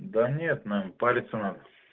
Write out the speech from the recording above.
да нет нам парится надо